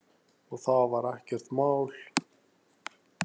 Og það var ekkert mál.